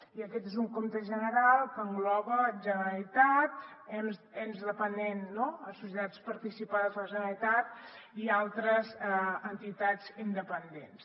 i aquest és un compte general que engloba generalitat ens dependents no societats participades per la generalitat i altres entitats independents